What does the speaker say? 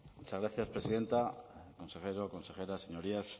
muchas gracias presidenta consejero consejera señorías